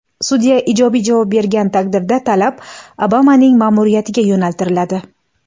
Sudya ijobiy javob bergan taqdirda, talab Obamaning ma’muriyatiga yo‘naltiriladi.